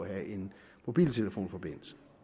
at have en mobiltelefonforbindelse